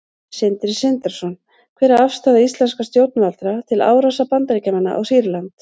Sindri Sindrason: Hver er afstaða íslenskra stjórnvalda til árásar Bandaríkjamanna á Sýrland?